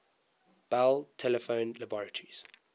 bell telephone laboratories